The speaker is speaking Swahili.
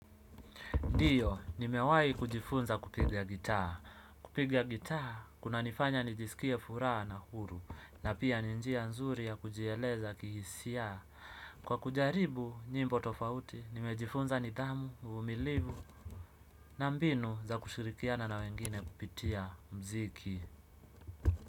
Ndiyo, nimewahi kujifunza kupiga gitaa. Kupiga gitaa, kunanifanya nijisikie furaha na huru, na pia ni njia nzuri ya kujieleza kihisia. Kwa kujaribu nyimbo tofauti, nimejifunza nidhamu, uvumilivu, na mbinu za kushirikiana na wengine kupitia muziki.